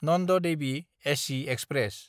Nand Devi AC express